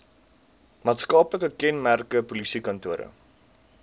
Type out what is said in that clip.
maatskaplike kenmerke polisiekantore